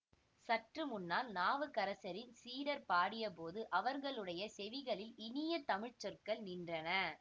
சற்று முன்னால் நாவுக்கரசரின் சீடர் பாடியபோது அவர்களுடைய செவிகளில் இனிய தமிழ் சொற்கள் நின்றன